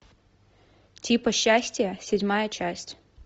типы счастья седьмая часть